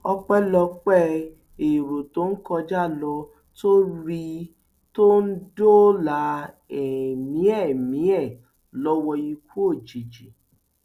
ọpẹlọpẹ èrò tó ń kọjá ló tó rí i tó dóòlà ẹmí ẹmí ẹ lọwọ ikú òjijì